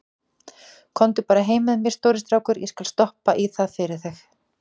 Komdu bara heim með mér, stóri strákur, ég skal stoppa í það fyrir þig.